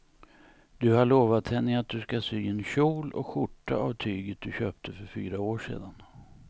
Du har lovat henne att du ska sy en kjol och skjorta av tyget du köpte för fyra år sedan.